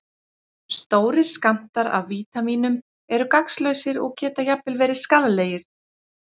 Stórir skammtar af vítamínum eru gagnslausir og geta jafnvel verið skaðlegir.